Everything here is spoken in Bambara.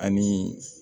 Ani